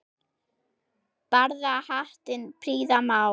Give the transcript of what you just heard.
Barða hattinn prýða má.